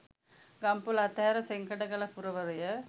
ගම්පොළ අතහැර සෙංකඩගල පුරවරය